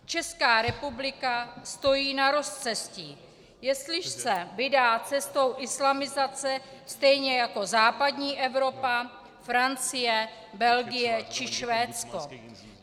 Česká republika stojí na rozcestí, jestli se vydá cestou islamizace stejně jako západní Evropa, Francie, Belgie či Švédsko.